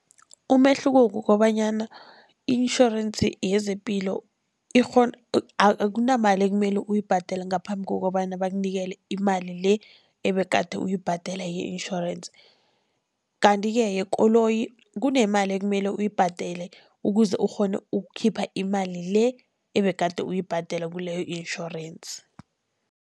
Umehluko kukobanyana i-insurance yezepilo akunamali ekumele uyibhadele ngaphambi kokobana bakunikele imali le ebegade uyibhadela ye-insurance. Kanti-ke yekoloyi kunemali ekumele uyibhadele ukuze ukghone ukukhipha imali le ebegade uyibhadela kileyo insurance.